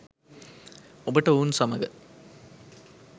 ඔබට ඔවුන් සමග